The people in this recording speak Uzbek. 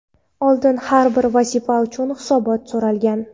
Oldin har bir vazifa uchun hisobot so‘ralgan.